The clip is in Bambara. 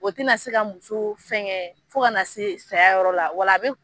O tɛna se ka muso fɛn kɛ fo kana se saya yɔrɔ la